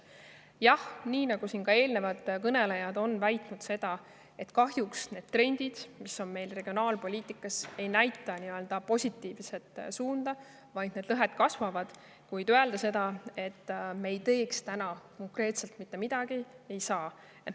Jah, ka eelnevad kõnelejad on väitnud, et kahjuks need trendid, mis on meil regionaalpoliitikas, ei näita positiivset suunda, vaid need lõhed kasvavad, kuid öelda, et me konkreetselt mitte midagi ei tee, siiski ei saa.